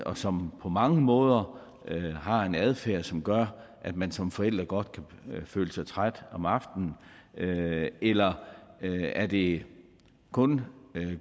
og som på mange måder har en adfærd som gør at man som forælder godt kan føle sig træt om aftnen eller er det kun